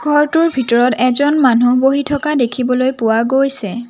ঘৰটোৰ ভিতৰত এজন মানুহ বহি থকা দেখিবলৈ পোৱা গৈছে।